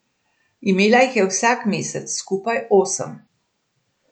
Imela jih je vsak mesec, skupaj osem.